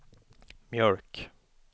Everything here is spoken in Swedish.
mjölk